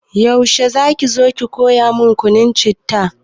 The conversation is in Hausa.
Yaushe zaki zo ki koya mun yin kunun citta?